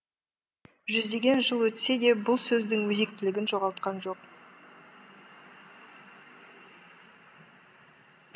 жүздеген жыл өтсе де бұл сөз өзінің өзектілігін жоғалтқан жоқ